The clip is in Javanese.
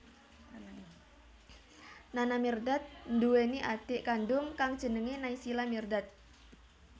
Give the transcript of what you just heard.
Nana Mirdad nduwèni adhik kandung kang jenengé Naysila Mirdad